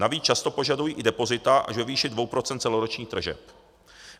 Navíc často požadují i depozita až ve výši 2 % celoročních tržeb.